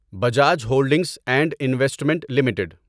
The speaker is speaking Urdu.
Bajaj holdings and investment limited